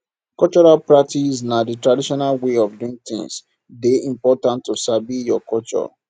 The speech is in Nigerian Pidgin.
cultural practice na di traditional way of doing things de important to sabi your culture